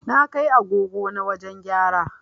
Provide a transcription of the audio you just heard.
Na kai agogo na wajen gyara